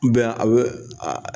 a bɛ aa